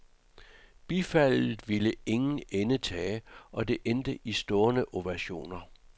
Bifaldet ville ingen ende tage, og det endte i stående ovationer.